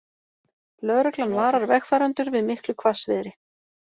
Lögreglan varar vegfarendur við miklu hvassviðri